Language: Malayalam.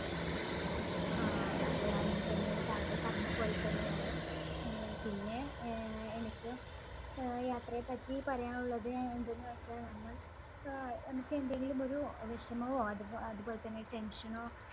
ആ, അതെ അങ്ങനെ തന്നെയാണ്. താങ്കൾ പറഞ്ഞപോലെ തന്നെയാണ്. ആഹ് പിന്നെ ആഹ് എനിക്ക് ആഹ് യാത്രയെപ്പറ്റി പറയാനുള്ളത് ആഹ് എന്തെന്ന് വെച്ചാൽ നമ്മൾ ആഹ് നമുക്ക് എന്തെങ്കിലും ഒരു വിഷമമോ അതു~അതുപോലെതന്നെ tension നോ